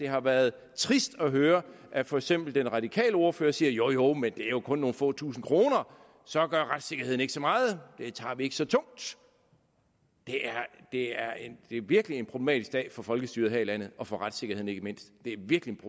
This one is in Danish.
har været trist at høre at for eksempel den radikale ordfører siger jo jo men det er jo kun nogle få tusinde kroner så gør retssikkerheden ikke så meget det tager vi ikke så tungt det er virkelig en problematisk dag for folkestyret her i landet og for retssikkerheden ikke mindst det er virkelig